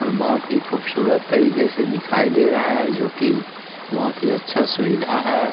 और बहुत ही खूबसूरत तरीके से दिखाई दे रहा है जो की बोहोत ही अच्छा सुविधा है।